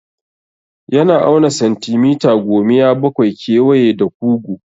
Yana auna santimita gomiya bakwai kewaye da kugu.